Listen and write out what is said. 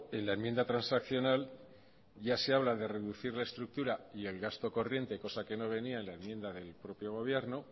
en la enmienda transaccional ya se habla de reducir la estructura y el gasto corriente cosa que no venía en la enmienda del propio gobierno